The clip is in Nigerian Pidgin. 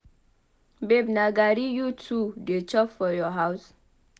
Babe na garri you too dey chop for your house?